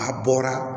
A bɔra